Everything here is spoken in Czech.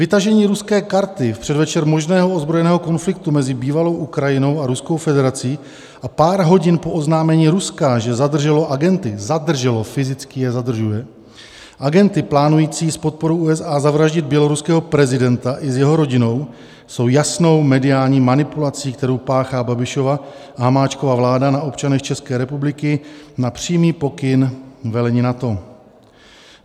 Vytažení ruské karty v předvečer možného ozbrojeného konfliktu mezi bývalou Ukrajinou a Ruskou federací a pár hodin po oznámení Ruska, že zadrželo agenty" - zadrželo, fyzicky je zadržuje - "agenty plánující s podporou USA zavraždit běloruského prezidenta i s jeho rodinou, jsou jasnou mediální manipulací, kterou páchá Babišova a Hamáčkova vláda na občanech České republiky na přímý pokyn velení NATO.